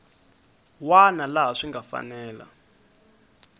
wana laha swi nga fanela